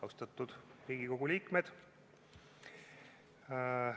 Austatud Riigikogu liikmed!